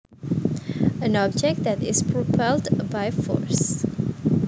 An object that is propelled by force